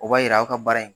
O b'a yira aw ka baara in